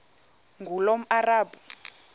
ngulomarabu